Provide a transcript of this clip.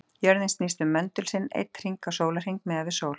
Jörðin snýst um möndul sinn einn hring á sólarhring, miðað við sól.